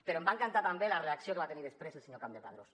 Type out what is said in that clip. però em va encantar també la reacció que va tenir després el senyor campdepadrós